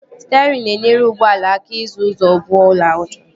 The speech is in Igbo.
Sterịn na-enyere ụgbọala aka isi ụzọ ọbụla ọ chọrọ